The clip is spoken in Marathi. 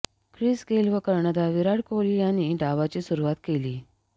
ख्रिस गेल व कर्णधार विराट कोहली यांनी डावाची सुरुवात केली